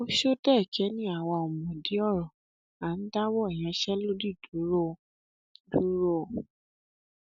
ọsọdẹ́ẹ̀kẹ́ ni àwa ò mọdí ọrọ à ń dáwọ ìyanṣẹlódì dúró o dúró o